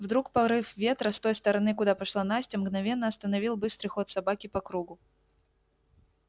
вдруг порыв ветра с той стороны куда пошла настя мгновенно остановил быстрый ход собаки по кругу